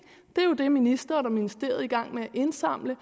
det er jo det ministeren og ministeriet er i gang med at indsamle